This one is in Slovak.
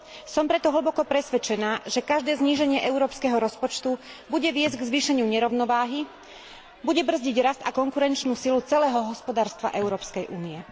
Som preto hlboko presvedčená, že každé zníženie európskeho rozpočtu bude viesť k zvýšeniu nerovnováhy, bude brzdiť rast a konkurenčnú silu celého hospodárstva Európskej únie.